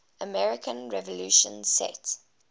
american revolution set